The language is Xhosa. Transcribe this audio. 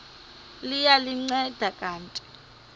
liya ndinceda kanti